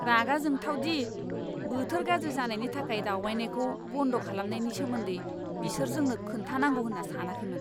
रागा जोंथाव दि बोथोर गाज्रि जानायनि थाखाय दावबायनायखौ बन्द खालामनायनि सोमोन्दै बिसोर जोंनो खोन्थानांगौ होनना सानाखैमोन!